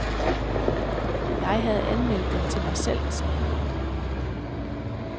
Jeg havde anmeldt den til mig selv, sagde han.